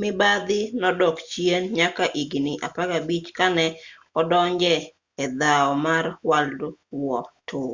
mibadhi nodok chien nyaka higni 15 kane odonje edhaw mar world war ii